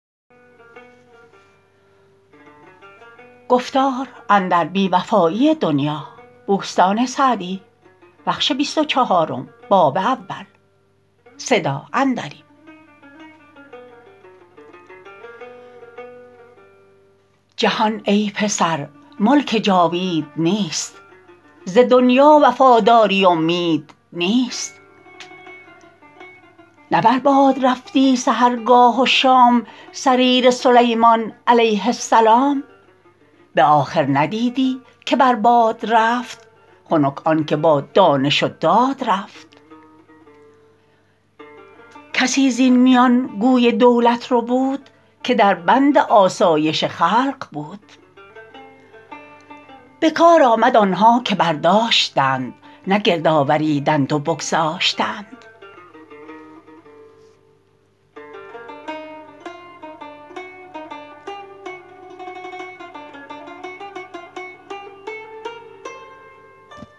جهان ای پسر ملک جاوید نیست ز دنیا وفاداری امید نیست نه بر باد رفتی سحرگاه و شام سریر سلیمان علیه السلام به آخر ندیدی که بر باد رفت خنک آن که با دانش و داد رفت کسی زین میان گوی دولت ربود که در بند آسایش خلق بود به کار آمد آنها که برداشتند نه گرد آوریدند و بگذاشتند